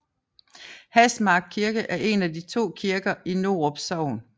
Hasmark Kirke er en af de to kirker i Norup Sogn